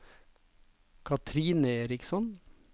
Kathrine Eriksson